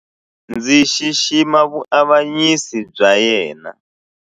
Ndzi xixima vuavanyisi bya yena.